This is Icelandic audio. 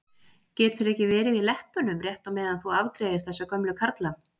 Geturðu ekki verið í leppunum rétt á meðan þú afgreiðir þessa gömlu karla?